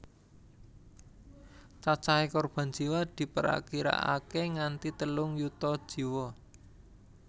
Cacahé korban jiwa diprakirakaké nganti telung yuta jiwa